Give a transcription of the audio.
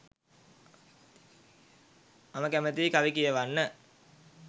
මම කැමතියි කවි කියවන්න